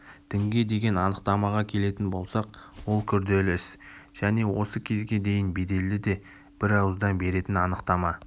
дінге деген анықтамаға келетін болсақ ол күрделі іс және осы кезге дейін беделді де бір ауыздан беретін анықтама